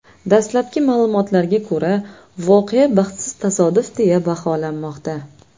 Dastlabki ma’lumotlarga ko‘ra, voqea baxtsiz tasodif, deya baholanmoqda.